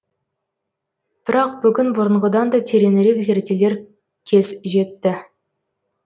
бірақ бүгін бұрынғыдан да тереңірек зерделер кез жетті